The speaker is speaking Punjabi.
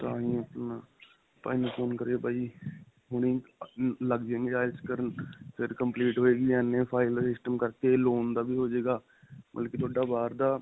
ਤਾਂਹੀ ਆਪਣਾ ਬਾਈ ਨੂੰ phone ਕਰਇਆ. ਬਾਈ ਹੁਣੀ ਲੱਗ ਜਾਣਗੇ IELTS ਕਰਨ ਫਿਰ complete ਹੋਏਗੀ. ਇੰਨੇ file ਦਾ system ਕਰਕੇ loan ਦਾ ਵੀ ਹੋਜੇਗਾ ਬਲਕਿ ਤੁਹਾਡਾ ਬਾਹਰ ਦਾ.